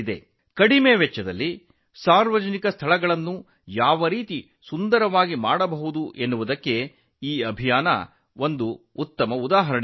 ಕಡಿಮೆ ವೆಚ್ಚದಲ್ಲಿ ಸಾರ್ವಜನಿಕ ಸ್ಥಳಗಳನ್ನು ಹೇಗೆ ಸುಂದರಗೊಳಿಸಬಹುದು ಎಂಬುದಕ್ಕೆ ಈ ಅಭಿಯಾನವೂ ಒಂದು ಉದಾಹರಣೆಯಾಗಿದೆ